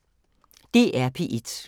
DR P1